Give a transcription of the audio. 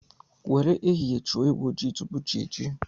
Nwere ehihie chụọ ewu ojii tupu chi ejie